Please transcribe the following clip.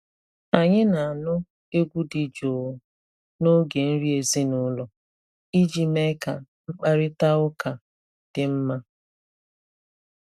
Anyị na-anụ egwu dị jụụ n’oge nri ezinụlọ iji mee ka mkparịta ụka dị mma.